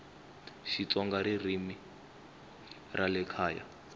xitsonga ririmi ra le kaya